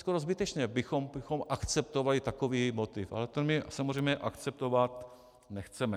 Skoro zbytečně bychom akceptovali takový motiv, ale to my samozřejmě akceptovat nechceme.